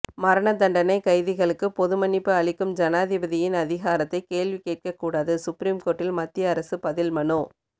மரண தண்டனை கைதிகளுக்கு பொது மன்னிப்பு அளிக்கும் ஜனாதிபதியின் அதிகாரத்தை கேள்வி கேட்கக்கூடாது சுப்ரீம் கோர்ட்டில் மத்திய அரசு பதில்மனு